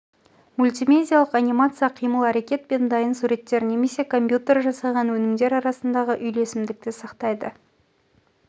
мультимедиалық анимация қимыл әрекет пен дайын суреттер немесе компьютер жасаған өнімдер арасындағы үйлесімді сақтайды